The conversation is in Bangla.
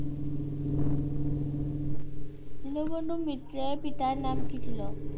দীনবন্ধু মিত্রের পিতার নাম কী ছিল?